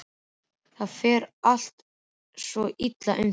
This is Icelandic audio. Það fer eitthvað svo illa um þig.